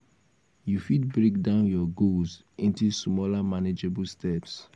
you fit break down your goals into smaller manageable steps.